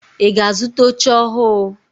Ị ga-azụta oche ọhụụ?